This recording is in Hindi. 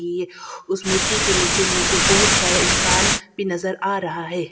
मूर्ति के नीचे मुझे बहुत सारा इंसान भी नजर आ रहा है।